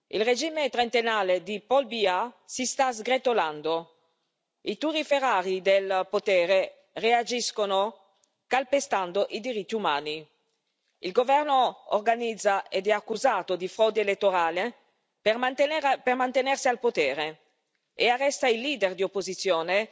Il regime trentennale di Paul Biya si sta sgretolando, i turiferari del potere reagiscono calpestando i diritti umani. Il governo organizza ed è accusato di frode elettorale per mantenersi al potere e arresta i leader dell'opposizione,